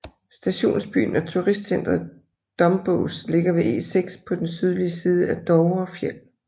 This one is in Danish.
Stationsbyen og turistcentret Dombås ligger ved E6 på den sydlige side af Dovrefjell